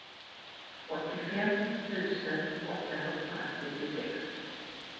åttiofem tusen åttahundrasjuttiosex